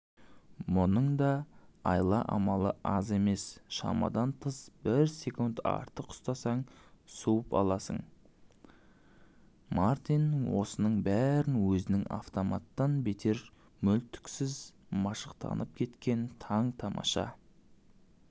мұның да айла-амалы аз емес шамадан бір секунд артық ұстасаң суытып аласың мартин осының бәріне өзінің автоматтан бетер мүлтіксіз машықтанып кеткеніне таң-тамаша